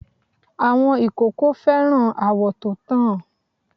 Àwọn ìkókó fẹ́ràn àwọ̀ to tàn.